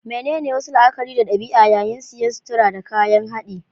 Menene wasu la'akari da ɗabi'a yayin siyan sutura da kayan haɗi?